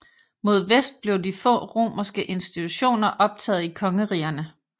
Mod vest blev de få romerske institutioner optaget i kongerigerne